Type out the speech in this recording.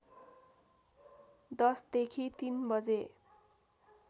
१० देखि ३ बजे